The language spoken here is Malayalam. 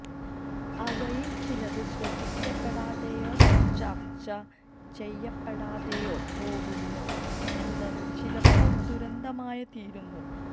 അവയില് ചിലത് ശ്രദ്ധിക്കപ്പെടാതെയോ ചര്ച്ച ചെയ്യപ്പെടാതെയോ പോകുന്നു എന്നത് ചിലപ്പോള് ദുരന്തമായിത്തീരുന്നു